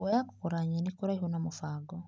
Kuoya kũgũra nyeni kũraihu na mũbango .